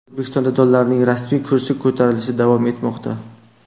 O‘zbekistonda dollarning rasmiy kursi ko‘tarilishda davom etmoqda.